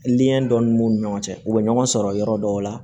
dɔ ni m'u ni ɲɔgɔn cɛ u bɛ ɲɔgɔn sɔrɔ yɔrɔ dɔw la